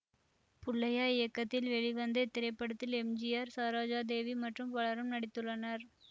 புள்ளையா இயக்கத்தில் வெளிவந்த இத்திரைப்படத்தில் எம் ஜி ஆர் சரோஜாதேவி மற்றும் பலரும் நடித்துள்ளனர்